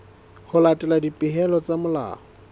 ho latela dipehelo tsa molao